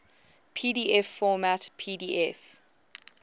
pdf format pdf